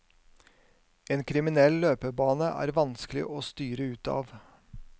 En kriminell løpebane er vanskelig å styre ut av.